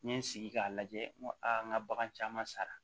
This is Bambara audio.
N ye n sigi k'a lajɛ n ko a n ka bagan caman sara